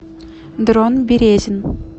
дрон березин